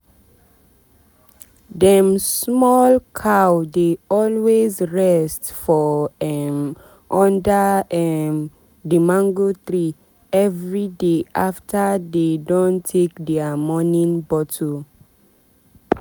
dem small cow dey always rest for um under um the mango tree everyday after dey don take dia morning bottle.